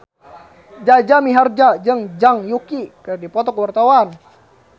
Jaja Mihardja jeung Zhang Yuqi keur dipoto ku wartawan